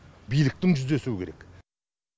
биліктің жүздесуі керек